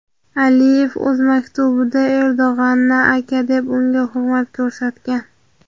Aliyev o‘z maktubida Erdo‘g‘anni "aka" deb unga hurmat ko‘rsatgan.